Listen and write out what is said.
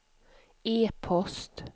e-post